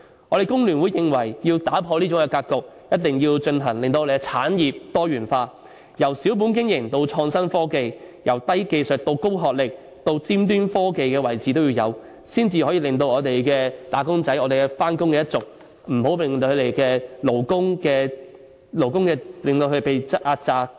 我們工聯會認為如要打破這種格局，必須進行產業多元化，由小本經營到創新科技；由低技術到高學歷，甚至達尖端科技的位置都要有，才能令我們的"打工仔"、"返工一族"等勞工階層不會被壓榨。